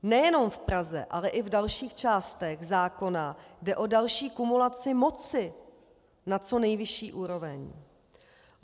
Nejenom v Praze, ale i v dalších částech zákona jde o další kumulaci moci na co nejvyšší úroveň.